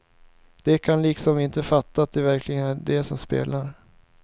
De kan liksom inte fatta att det verkligen är de som spelar.